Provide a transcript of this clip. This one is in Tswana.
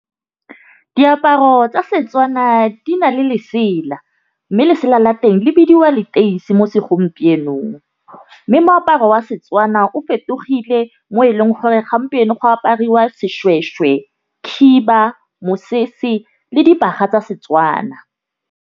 Diaparo tsa Setswana di na le lesela mme lesela la teng le bidiwa leteisi mo segompienong, mme moaparo wa Setswana o fetogile mo eleng gore gompieno go apariwa seshweshwe, khiba, mosese le dibaga tsa Setswana.